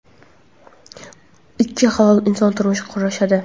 ikki halol inson turmush qurishadi.